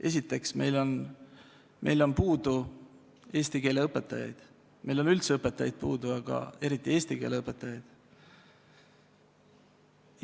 Esiteks, meil on puudu eesti keele õpetajaid, meil on üldse õpetajaid puudu, aga eriti eesti keele õpetajaid.